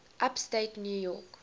upstate new york